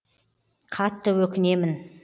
қатты өкінемін